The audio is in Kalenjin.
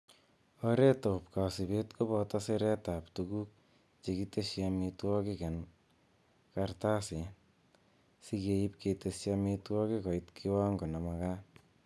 Oretab kosibet koboto siretab tuguk chekiteshi amitwogik en kartasit, sikeib keteshi amitwogik koit kiwango nemakat.